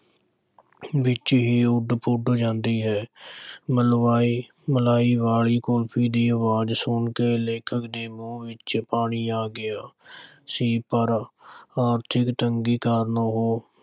ਵਿੱਚ ਹੀ ਉੱਡ-ਪੁੱਡ ਜਾਂਦੀ ਹੈ ਮਲਵਾਈ ਮਲਾਈ ਵਾਲੀ ਕੁਲਫ਼ੀ ਦੀ ਅਵਾਜ਼ ਸੁਣ ਕੇ ਲੇਖਕ ਦੇ ਮੂੰਹ ਵਿੱਚ ਪਾਣੀ ਆ ਗਿਆ ਸੀ ਪਰ ਆਰਥਿਕ ਤੰਗੀ ਕਾਰਨ ਉਹ